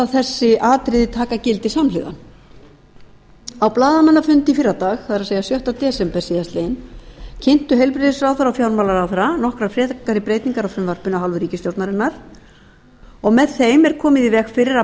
þessi atriði taka gildi samhliða á blaðamannafundi í fyrradag það er sjötta desember síðastliðinn kynntu heilbrigðisráðherra og fjármálaráðherra nokkrar frekari breytingar á frumvarpinu af hálfu ríkisstjórnarinnar og með þeim er komið í veg fyrir að